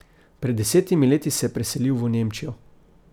Pred desetimi leti se je preselil v Nemčijo.